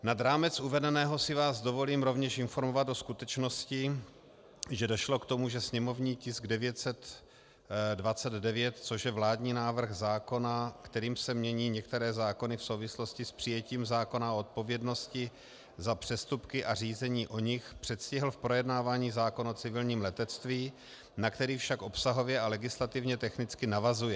Nad rámec uvedeného si vás dovolím rovněž informovat o skutečnosti, že došlo k tomu, že sněmovní tisk 929, což je vládní návrh zákona, kterým se mění některé zákony v souvislosti s přijetím zákona o odpovědnosti za přestupky a řízení o nich, předstihl v projednávání zákon o civilním letectví, na který však obsahově a legislativně technicky navazuje.